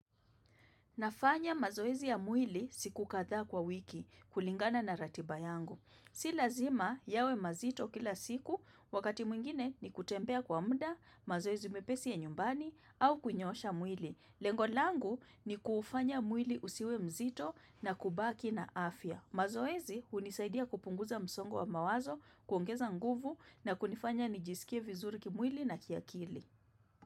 Nafanya mazoezi ya mwili siku kadhaa kwa wiki kulingana na ratiba yangu. Si lazima yawe mazito kila siku, wakati mwingine ni kutembea kwa muda, mazoezi mepesi ya nyumbani, au kunyoosha mwili. Lengo langu ni kufanya mwili usiwemzito na kubaki na afya. Mazoezi hunisaidia kupunguza msongo wa mawazo, kuongeza nguvu, na kunifanya nijisikie vizuri kimwili na kiakili.